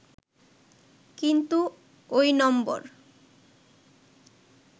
কিন্তু ঐ নম্বর